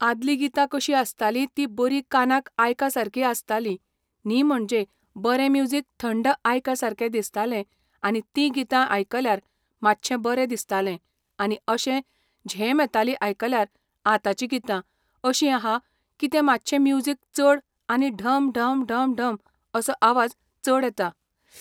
आदली गीतां कशीं आसताली ती बरी कानाक आयका सारकी आसताली न्ही म्हणजे बरें म्यूजिक थंड आयका सारके दिसताले आनी ती गीतां आयकल्यार मातशें बरें दिसताले आनी अशें झेम येताली आयकल्यार आताची गीतां अशीं आहा कितें मातशें म्यूजिक चड आनी ढम ढम ढम ढम असो आवाज चड येता